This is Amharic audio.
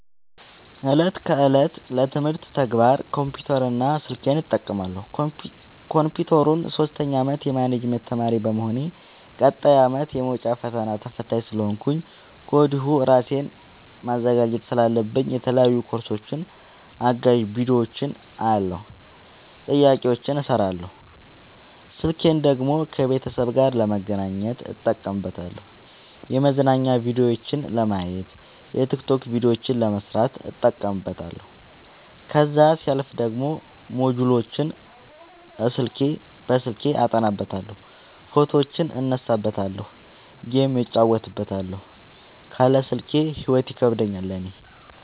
እለት ከእለት ለትምህርት ተግባር ኮምፒውተር እና ስልኬን እጠቀማለሁ። ኮንፒውተሩን ሶስተኛ አመት የማኔጅመት ተማሪ በመሆኔ ቀጣይ አመትም የመውጫ ፈተና ተፈታኝ ስለሆንኩኝ ከወዲሁ እራሴን ማዘጋጀት ስላለብኝ የተለያዩ ኮርሶችን አጋዝ ቢዲዮዎችን አያለሁ። ጥያቄዎችን እሰራለሁ። ስልኬን ደግሞ ከቤተሰብ ጋር ለመገናኘት እጠቀምበታለሁ የመዝናኛ ቭዲዮዎችን ለማየት። የቲክቶክ ቪዲዮዎችን ለመስራት እጠቀምበታለሁ። ከዛሲያልፍ ደግሞ ሞጅልዎችን አስልኬ አጠናበታለሁ። ፎቶዎችን እነሳበታለሀለ። ጌም እጫወትበታለሁ ካለ ስልኬ ሂይወት ይከብደኛል እኔ።